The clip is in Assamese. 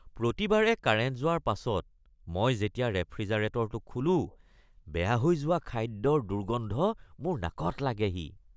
প্ৰতিবাৰে কাৰেণ্ট যোৱাৰ পাছত মই যেতিয়া ৰেফ্ৰিজাৰেটৰটো খোলো, বেয়া হৈ যোৱা খাদ্যৰ দুৰ্গন্ধ মোৰ নাকত লাগেহি